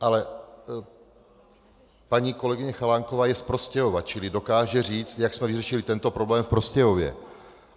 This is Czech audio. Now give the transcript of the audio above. Ale paní kolegyně Chalánková je z Prostějova, čili dokáže říct, jak jsme vyřešili tento problém v Prostějově.